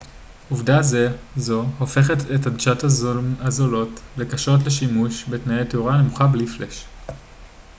עובדה זו הופכת את עדשות הזום הזולות לקשות לשימוש בתנאי תאורה נמוכה בלי פלאש